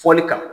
Fɔli kan